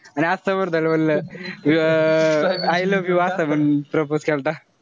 आणि असं बोललं अं I love you असं म्हणून propose केलता